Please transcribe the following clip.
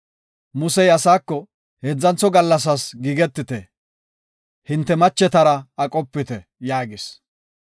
Musey asaako, “Heedzantho gallasaas giigetite; hinte machetara aqopite” yaagis.